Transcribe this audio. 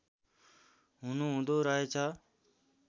हुनु हुँदो रहेछ